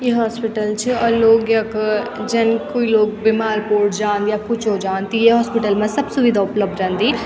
य हॉस्पिटल च और लोग यख जन कुई लोग बीमार पोड जान्द या कुछ हो जान्द त ये हॉस्पिटल मा सब सुविधा उपलब्ध रेंदी।